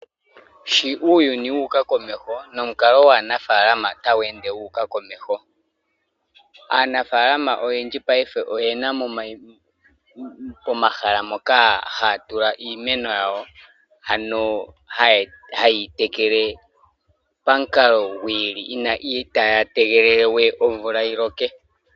Shi uuyuni wu uka komeho nomukalo gwaanafaalama otagu ende gu ende gu uka komeho . Aanafaalama payife oyena momahala moka haya tula iimeno yawo ano haya tekele pamukalo gwi ili itaya tegelele we omvula yiloke.